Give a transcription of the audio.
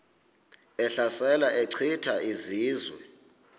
ehlasela echitha izizwe